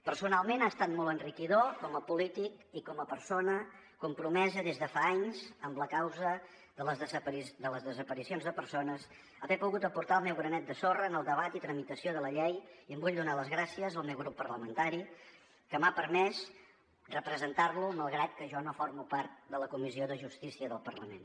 personalment ha estat molt enriquidor com a polític i com a persona compromesa des de fa anys amb la causa de les desaparicions de persones haver pogut aportar el meu granet de sorra en el debat i tramitació de la llei i en vull donar les gràcies al meu grup parlamentari que m’ha permès representar lo malgrat que jo no formo part de la comissió de justícia del parlament